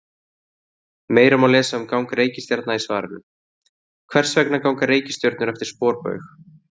Meira má lesa um gang reikistjarna í svarinu: Hvers vegna ganga reikistjörnur eftir sporbaug?